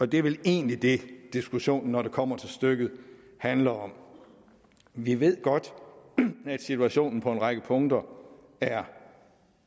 det er vel egentlig det diskussionen når det kommer til stykket handler om vi ved godt at situationen på en række punkter er